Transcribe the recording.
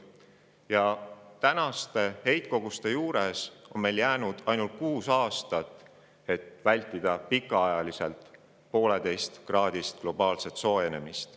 ] Aga tänaste heitkoguste juures on meil jäänud ainult 6 aastat, et vältida pikaaegset 1,5-kraadist globaalset soojenemist.